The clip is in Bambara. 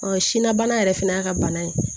sinna bana yɛrɛ fɛnɛ y'a ka bana ye